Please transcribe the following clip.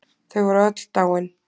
Þau voru öll dáin.